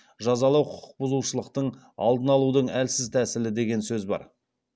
жазалау құқық бұзушылықтың алдын алудың әлсіз тәсілі деген сөз бар